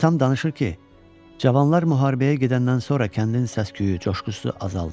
Atam danışır ki, cavanlar müharibəyə gedəndən sonra kəndin səs-küyü, coşqusu azaldı.